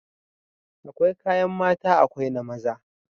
Akwai kayan mata akwai na maza